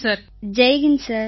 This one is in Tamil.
அனைவரும் ஜெய் ஹிந்த் சார்